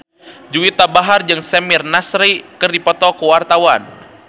Juwita Bahar jeung Samir Nasri keur dipoto ku wartawan